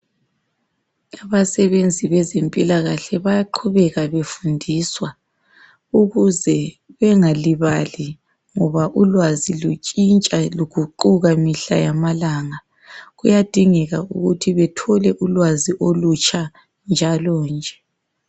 Abasebenzi bezempilakahle bayaqhubeka befundiswa ukuze bengalibali ngoba ulwazi lutshintsha luguquka mihla yamalanga. Kuyadingeka ukuthi bethole ulwazi olutsha njalo nje.